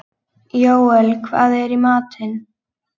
Jóel, hvað er í matinn?